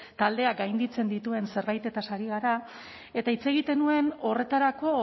taldeak gainditzen dituen zerbaitetaz ari gara eta hitz egiten nuen horretarako